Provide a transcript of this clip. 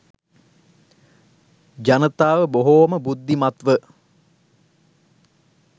ජනතාව බොහොම බුද්ධිමත්ව